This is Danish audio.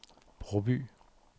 Broby